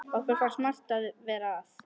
Okkur finnst margt vera að.